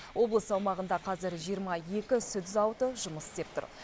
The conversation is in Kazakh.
облыс аумағында қазір жиырма екі сүт зауыты жұмыс істеп тұр